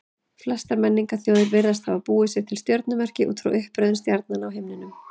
Flestar menningarþjóðir virðast hafa búið sér til stjörnumerki út frá uppröðun stjarnanna á himninum.